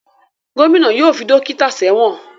Gómìnà yóò fi dókítà sẹ́wọ̀n